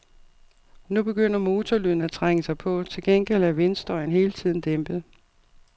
Nu begynder motorlyden at trænge sig på, til gengæld er vindstøjen hele tiden dæmpet.